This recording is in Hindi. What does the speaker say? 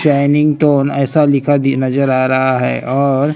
टोन ऐसा लिखा दि नजर आ रहा है और--